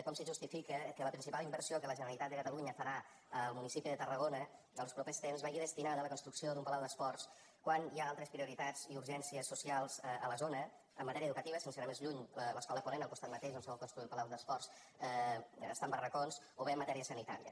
com se justifica que la principal inversió que la generalitat de catalunya farà al municipi de tarragona els propers temps vagi destinada a la construcció d’un palau d’esports quan hi ha altres prioritats i urgències socials a la zona en matèria educativa sense anar més lluny l’escola ponent al costat mateix d’on se vol construir el palau d’esports està en barracons o bé en matèria sanitària